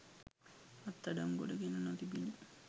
අත්අඩංගුවට ගෙන නොතිබිණි.